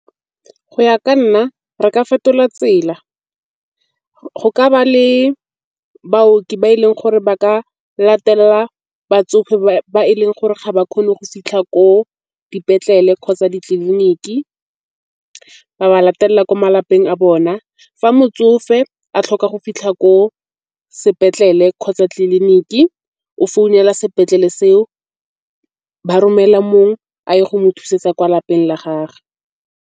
Go ya ka nna re ka fetola tsela, go ka ba le baooki ba e leng gore ba ka latelela batsofe ba e leng gore ga ba kgone go fitlha ko dipetlele kgotsa ditleliniki. Ba ba latelela ko malapeng a bona. Fa motsofe a tlhoka go fitlha ko sepetlele kgotsa tleliniki o founela sepetlele se o ba romela mongwe a ye go mo thusetsa kwa lapeng la gagwe.